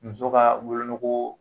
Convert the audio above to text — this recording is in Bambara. Muso ka wolonugu